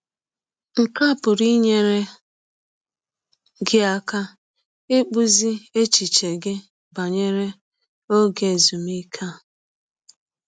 Nke a pụrụ inyere gị aka ịkpụzi echiche gị banyere ọge ezụmịke a.